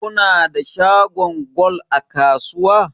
Kuna da shagon gwal a kasuwa?